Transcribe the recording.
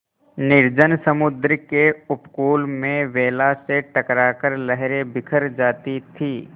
निर्जन समुद्र के उपकूल में वेला से टकरा कर लहरें बिखर जाती थीं